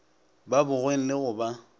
ba bogweng le go ba